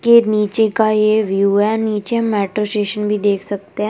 के नीचे का ये व्यू है नीचे हम मेट्रो स्टेशन भी देख सकते हैं।